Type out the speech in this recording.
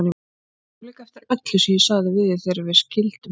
Ég sá líka eftir öllu sem ég sagði við þig þegar við skildum.